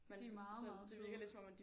De er meget meget søde